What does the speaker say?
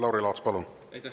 Lauri Laats, palun!